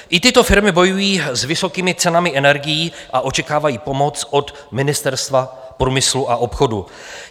I tyto firmy bojují s vysokými cenami energií a očekávají pomoc od Ministerstva průmyslu a obchodu.